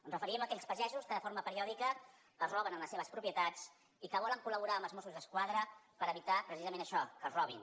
ens referim a aquells pagesos que de forma periòdica els roben en les seves propietats i que volen col·laborar amb els mossos d’esquadra per evitar precisament això que els robin